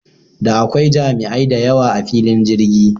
Da akwai jami'ai dayawa a filin jirgi